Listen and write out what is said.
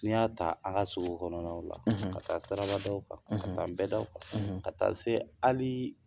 N'i y'a ta an ka sugu kɔnɔnaw la ka taa sarabadaw kan ka taa nbɛdaw kan ka taa se ali